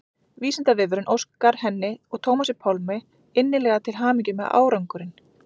Vísindavefurinn óskar henni og Tómasi Pálmi innilega til hamingju með árangurinn.